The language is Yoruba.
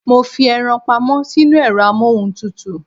Mo fi eran pamọ́ sínú ẹ̀rọ amóhuntutù